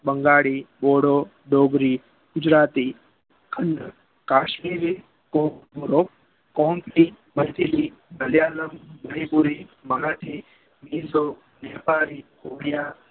બંગાળી બોરો બોબરી ગુજરાતી ખ્ન્ધ્ર કાશ્મીરી કોરો કોન્ગ્સી ધાજગ્રી ભેલપૂરી મરાઠી મલયાલમ મીસો મ્લ્તીસી